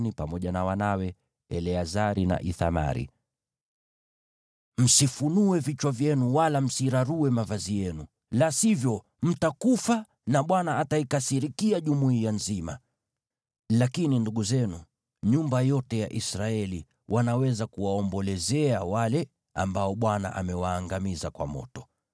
Ndipo Mose akamwambia Aroni pamoja na wanawe, Eleazari na Ithamari, “Msifunue vichwa vyenu wala msirarue mavazi yenu, la sivyo mtakufa na Bwana ataikasirikia jumuiya nzima. Lakini ndugu zenu, nyumba yote ya Israeli, wanaweza kuwaombolezea wale ambao Bwana amewaangamiza kwa moto.